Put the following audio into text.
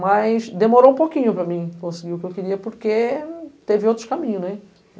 Mas demorou um pouquinho para mim conseguir o que eu queria, porque teve outros caminhos, né?